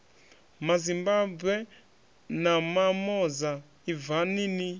mazimbabwe na mamoza ibvani ni